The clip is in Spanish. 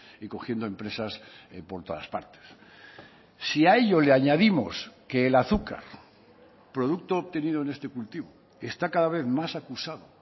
y cogiendo empresas por todas partes si a ello le añadimos que el azúcar producto obtenido en este cultivo está cada vez más acusado